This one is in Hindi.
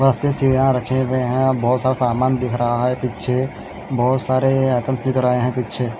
बहुत ही सीडिया रखी हुई हैं और बहुत सा सामन दिख रहा हैं पीछे बहुत सारे आइटम दिख रहे हैं पीछे--